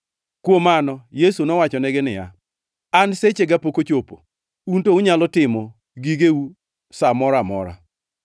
Kuom mano, Yesu nowachonegi niya, “An sechega pok ochopo, un to unyalo timo gigeu sa moro amora.